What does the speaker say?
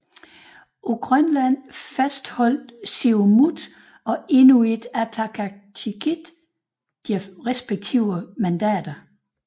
På Grønland fastholdt Siumut og Inuit Ataqatigiit deres respektive mandater